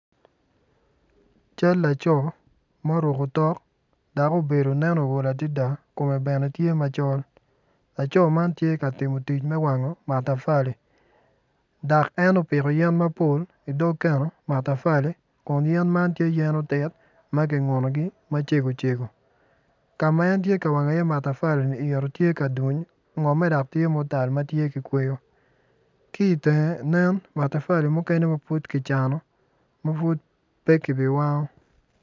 Cal laco ma oruko otok obedo ma ool adada kome bene tye macol laco man tye ka timo tic me wango matafali en opiko yen mapol i matafali kun yen man tye yen otit ma kingunogi macegocego ka ma en tye ka wango iye matafalini yito tye ka duny ngimme tye ma otal dok tye ki kweyo ki i teng nen matafali mukene ma pud kicano ma pud pe kibiwango.